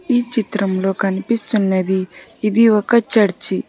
ఈ చిత్రంలో కనిపిస్తున్నది ఇది ఒక చర్చి.